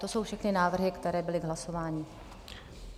To jsou všechny návrhy, které byly k hlasování.